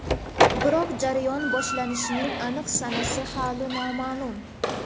Biroq jarayon boshlanishining aniq sanasi hali noma’lum.